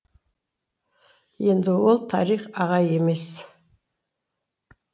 енді ол тарих ағай емес